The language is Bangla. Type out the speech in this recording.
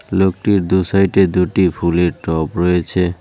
লোকটির দু সাইডে দুটি ফুলের টব রয়েছে।